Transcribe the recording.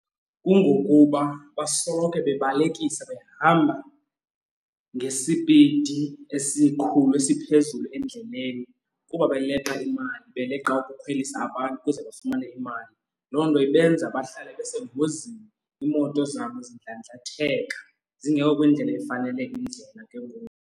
Kungokuba basoloko bebalekisa behamba ngesipidi esikhulu, esiphezulu endleleni kuba beleqa imali beleqa ukukhwelisa nge abantu ukuze bafumane imali. Loo nto ibenza bahlale besengozini iimoto zabo zindlandlatheka zingekho kwindlela efanele kwindlela ke ngoku.